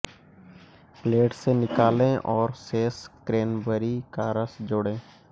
plate से निकालें और शेष क्रैनबेरी का रस जोड़ें